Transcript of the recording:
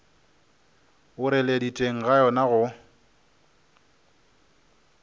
boreledi teng ga yona go